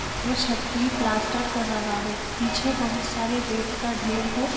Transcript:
वो छत की प्लास्टर कर रहा है पीछे बहोत सारे रेत का ढेर है।